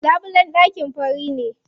Labulen ɗakin fari ne.